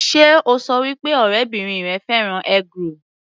Sé o ṣọ wí pé ọ̀rẹ́bìrin rẹ fẹ́ràn eggroll?